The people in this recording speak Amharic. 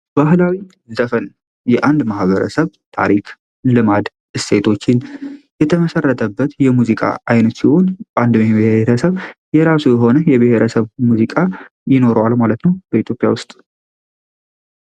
ባህላዊ ሙዚቃ የአንድ ማህበረሰብ ልማድ እሴት ባህሎችን የተመሰረተበት የሙዚቃ ዓይነት ይሆን እንደ ብሔረሰብ የራሱ የሆነ የብሔረሰብ ሙዚቃ ይኖረዋል ማለት ነው በኢትዮጵያ ውስጥ።